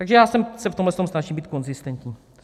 Takže já se v tomhle snažím být konzistentní.